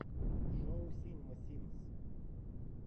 шоу синема синс